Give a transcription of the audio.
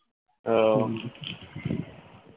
ওহ